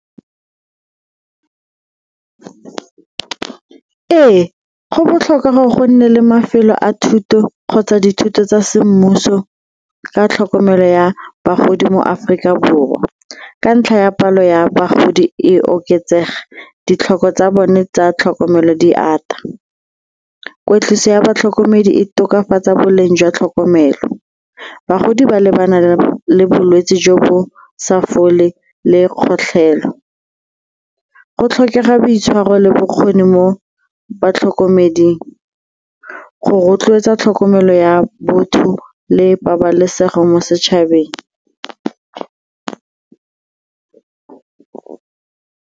Ee, go botlhokwa gore go nne le mafelo a thuto kgotsa dithuto tsa semmuso ka tlhokomelo ya bagodi mo Aforika Borwa ka ntlha ya palo ya bagodi e oketsega ditlhoko tsa bone tsa tlhokomelo di ata. Kweetliso ya batlhokomedi e tokafatsa boleng jwa tlhokomelo, bagodi ba lebana le bolwetse jo bo sa fole le kgotlhelo, go tlhokega boitshwaro le bokgoni mo batlhokomeding go rotloetsa tlhokomelo ya botho le pabalesego mo setšhabeng.